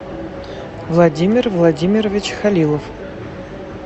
владимир владимирович халилов